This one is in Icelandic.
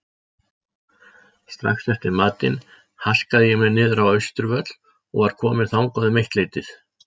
Strax eftir matinn haskaði ég mér niðrá Austurvöll og var kominn þangað um eittleytið.